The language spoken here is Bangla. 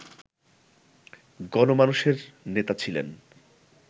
গণমানুষের নেতা ছিলেন